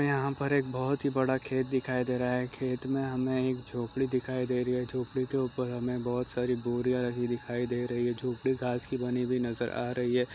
यहाँ पर एक बहोत बड़ा दिखाई दे रहा है खेत में हमें एक झोपड़ी दिखाई दे रही है झोपड़ी के ऊपर हमे बहोत सारी बोरियां रखी दिखाई दे रही है झोपड़ी-झोपड़ी घास की बनी हुई नज़र आ रही है।